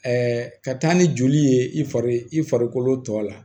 ka taa ni joli ye i fari i farikolo tɔ la